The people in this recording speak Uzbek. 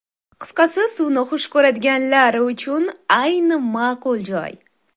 Qisqasi suvni xush ko‘radiganlar uchun ayni ma’qul joy.